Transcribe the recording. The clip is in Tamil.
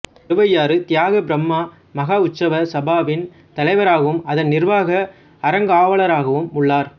திருவையாறு தியாகபிரம்மா மகாஉத்சவ சபாவின் தலைவராகவும் அதன் நிர்வாக அறங்காவலராகவும் உள்ளார்